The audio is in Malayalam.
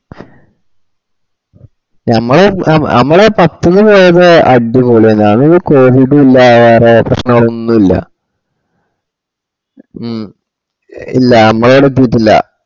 ഞമ്മള് ഞമ്മള് പത്തിന് പോയപ്പോ അടിപൊളിയാന്ന് അന്ന് ഒന്നും കോവിഡ് ഉം ഇല്ല വേറേ പ്രേശ്നങ്ങൾ ഒന്നുല ഹ്മ് ഇല്ല നമ്മള്ടത്തീട്ടില്ല